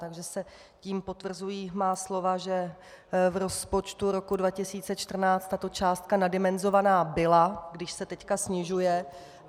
Takže se tím potvrzují má slova, že v rozpočtu roku 2014 tato částka naddimenzovaná byla, když se teď snižuje.